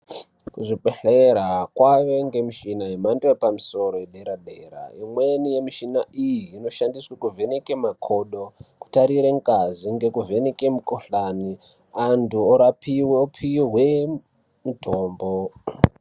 Kuzvibhehlera kwaave ngemishina yemhando yepamusoro ye deradera imweni yemishina iyi inoshandiswe kuvheneke makodo kutarire ngazi ngekuvheneke mukhuhlani antu orapi, opiwe mutombo.